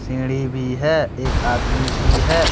सीढ़ी भी है एक आदमी भी है।